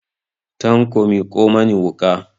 Tanko miƙo mani wuƙa!